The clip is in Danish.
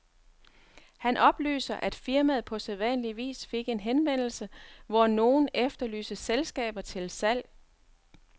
Han oplyser, at firmaet på sædvanlig vis fik en henvendelse, hvor nogen efterlyste selskaber til salg.